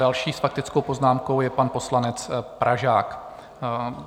Další s faktickou poznámkou je pan poslanec Pražák.